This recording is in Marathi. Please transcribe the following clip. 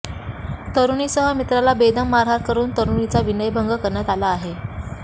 तरुणीसह मिञाला बेदम मारहाण करुन तरुणीचा विनयभंग करण्यात आला आहे